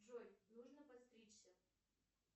джой нужно подстричься